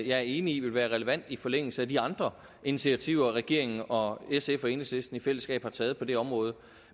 jeg er enig i ville være relevant i forlængelse af de andre initiativer regeringen og sf og enhedslisten i fællesskab har taget på det område